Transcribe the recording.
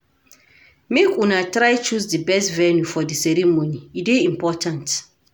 Make una try choose di best venue for di ceremony, e dey important.